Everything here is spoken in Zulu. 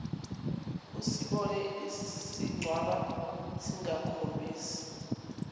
usibone sincwaba singakhombisi